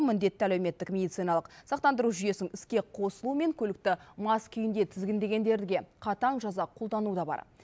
міндетті әлеуметтік медициналық сақтандыру жүйесінің іске қосылуы мен көлікті мас күйінде тізгіндегендерге қатаң жаза қолдану да бар